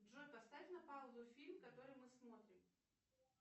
джой поставь на паузу фильм который мы смотрим